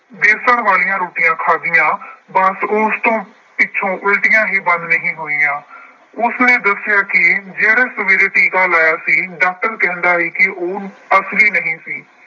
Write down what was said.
ਬੇਸਣ ਵਾਲੀਆਂ ਰੋਟੀਆਂ ਖਾਧੀਆਂ ਬਸ ਉਸ ਤੋਂ ਪਿੱਛੋਂ ਉਲਟੀਆਂ ਹੀ ਬੰਦ ਨਹੀਂ ਹੋਈਆਂ। ਉਸਨੇ ਦੱਸਿਆ ਕਿ ਜਿਹੜਾ ਸਵੇਰੇ ਟੀਕਾ ਲਾਇਆ ਸੀ, doctor ਕਹਿੰਦਾ ਹੈ ਕਿ ਅਸਲੀ ਨਹੀਂ ਸੀ।